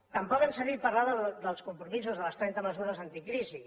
tampoc hem sentit parlar dels compromisos de les trenta mesures anticrisi